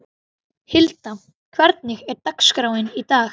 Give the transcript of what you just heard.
Hilda, hvernig er dagskráin í dag?